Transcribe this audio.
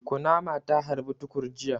Kunama ta harbi Tukur jiya.